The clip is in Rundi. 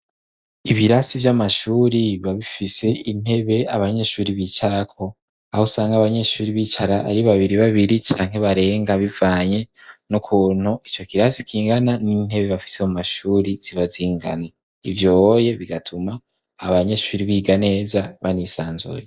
Ibirasi vy'amashure biba bifise intebe abanyeshure bicarako, Aho usanga abanyeshure bicara ari babiribabiri canke barenga bivanye n'ukuntu ico kirasi kingana, n'intebe bafise mu mashure ziba zingana. Ivyohoye bigatuna abanyeshure biga neza banisanzuye.